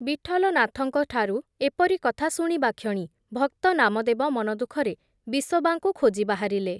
ବିଠଲନାଥଙ୍କ ଠାରୁ ଏପରି କଥା ଶୁଣିବାକ୍ଷଣି ଭକ୍ତ ନାମଦେବ ମନଦୁଃଖରେ ବିସୋବାଙ୍କୁ ଖୋଜି ବାହାରିଲେ ।